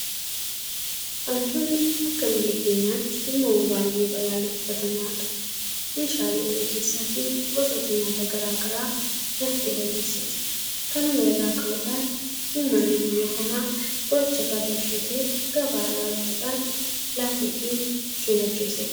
Hantuunni akka biyya keenyaatti uumama baay'ee balaaleffatamaadha. Meeshaalee mana keessaafi gosoota nyaata garaa garaa nyaattee balleessiti. Kanuma irraa ka'uudhaan uummanni biyya kanaa qoricha farra ishee ta'e gabaa irraa bituudhaan laateefi ittiin ajjeesee dhabamsiisa.